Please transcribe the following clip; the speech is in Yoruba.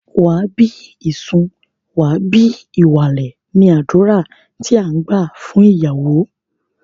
Wà á bí ìsun, wà á bí ìwàlè! ni àdúrà tí à ń gbà fún ìyàwó.